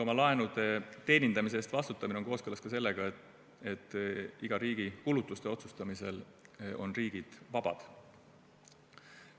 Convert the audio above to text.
Oma laenude teenindamise eest vastutamine on kooskõlas ka sellega, et riigi kulutuste otsustamisel on riigid vabad.